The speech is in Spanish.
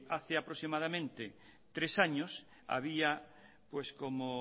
hace aproximadamente tres años había como